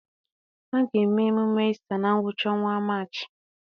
A ga-eme emume Ista na ngwụcha ọnwa Maachị.